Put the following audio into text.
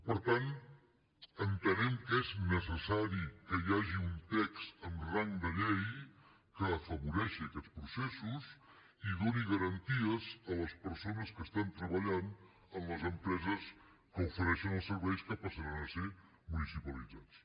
per tant entenem que és necessari que hi hagi un text amb rang de llei que afavoreixi aquests processos i doni garanties a les persones que estan treballant en les empreses que ofereixen els serveis que passaran a ser municipalitzats